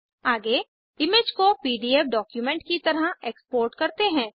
आगे इमेज को PDF document की तरह एक्सपोर्ट करते हैं